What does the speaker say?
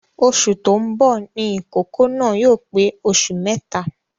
Oṣù tó ń bọ ní ìkókó náà yóò pe oṣù mẹ́ta